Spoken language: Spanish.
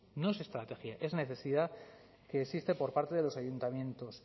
no es estrategia es necesidad que existe por parte de los ayuntamientos